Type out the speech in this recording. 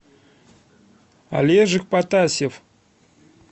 олежек потасьев